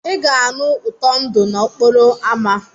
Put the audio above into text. Ị ga-anụ ụtọ ndụ n'okporo ámá.